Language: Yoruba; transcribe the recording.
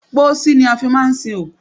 Pósí ni a fi máà ń sin òkú.